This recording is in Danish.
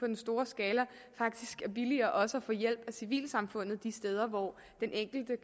den store skala faktisk er billigere også at få hjælp af civilsamfundet de steder hvor den enkelte